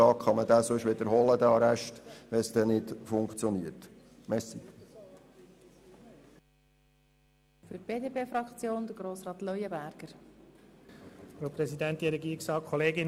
Denn man kann den Arrest nach 14 Tagen wiederholen, wenn es nicht funktionieren sollte.